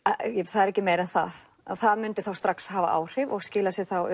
það þarf ekki meira en það að það myndi þá strax hafa áhrif og skila sér þá